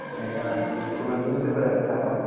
এইটা আরকি কেন news paper আরকি ছাপা হয়নি